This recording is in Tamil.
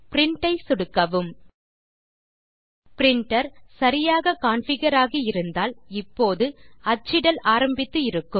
பிரின்ட் ஐ சொடுக்கவும் பிரின்டர் சரியாக கான்ஃபிகர் ஆகி இருந்தால் இப்போது அச்சிடல் ஆரம்பித்து இருக்கும்